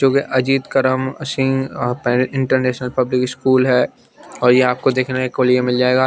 जो के अजित करा मशीन अइंटरनेशनल पब्लिक स्कूल है और ये आपको देखने को लिए मिल जायेगा।